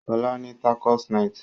Sola ní tacos night